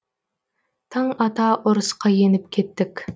таң ата ұрысқа еніп кеттік